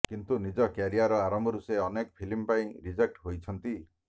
କିନ୍ତୁ ନିଜ କ୍ୟାରିଅର ଆରମ୍ଭରୁ ସେ ଅନେକ ଫିଲ୍ମ ପାଇଁ ରିଜେକ୍ଟ ହୋଇଛନ୍ତି